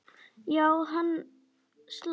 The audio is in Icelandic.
Já, hann slapp.